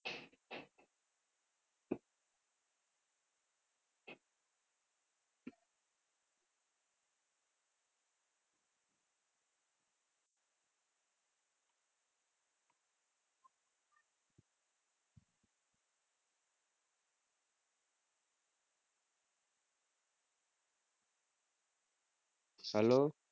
Hello